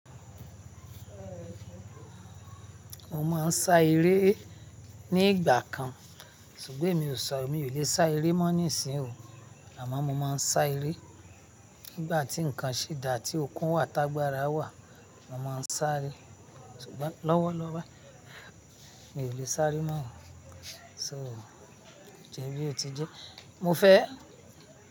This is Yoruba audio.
Mo máa ń sá eré ní ìgbà kan, ṣùgbọ́n emi ò sá, emi ò lè sá eré mọ́ nísìn o. Àmọ́ mo máa ń sá eré nígbà tí nǹkan ṣì dà, tí okun wà, t'agbára wà, mo máa ń sáré. Ṣùgbọ́n lọ́wọ́lọ́wọ́ mi ò lè sáré mọ́. So, ojẹ́ bí ó ti jẹ́, mo fẹ́